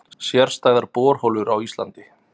Sérstæðar borholur á Íslandi